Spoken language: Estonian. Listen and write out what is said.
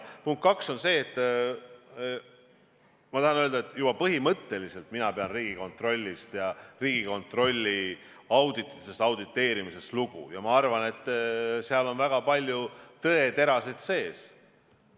Punkt kaks, juba põhimõtteliselt mina pean Riigikontrollist, Riigikontrolli audititest ja auditeerimisest lugu ja ma arvan, et seal on väga palju tõeterasid sees.